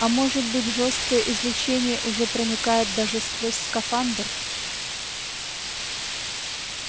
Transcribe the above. а может быть жёсткое излучение уже проникает даже сквозь скафандр